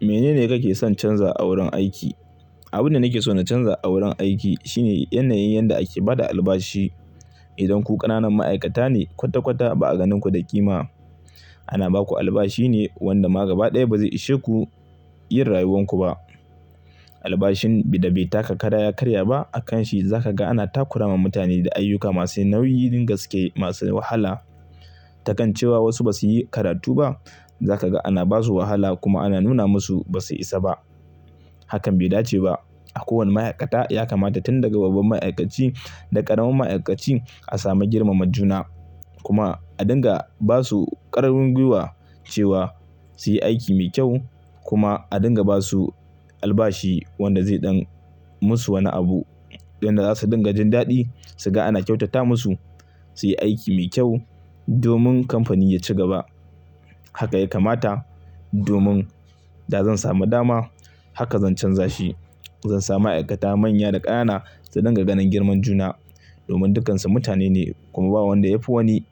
Mene ne kake son canza a wurin aiki? Abin da nake so na canza a wurin aiki shine yanayin yadda ake ba da albashi. Idan ku ƙananan ma'aikata ne kwata-kwata ba a ganin ku da ƙima ana ba ku albashi ne wanda ma gaba ɗaya ba zai ishe ku yin rayuwar ku ba. Albashin da bai taka kada ya karya ba a kan shi za ka ga ana takura ma mutane da ayyuka masu nauyi, gaske masu wahala. Ta kan cewa wasu ba su yi karatu ba za ka ga ana ba su wahala kuma ana nuna masu ba su isa ba. Hakan bai dace ba. A kowane ma'aikata ya kamata tun daga babban ma'aikaci da ƙaramin ma'aikaci a sami girmama juna. Kuma a dinga ba su ƙarfin gwiwa cewa su yi aiki mai kyau kuma a dinga ba su albashi wanda zai ɗan musu wani abu, yanda za su dinga jin daɗi su ga ana kyautata musu su yi aiki mai kyau domin kamfani ya ci gaba. Haka ya kamata domin da zan samu dama haka zan canza shi. Zan sa ma'aikata manya da ƙanana su dinga ganin girman juna domin dukansu mutane ne kuma ba wanda ya fi wani.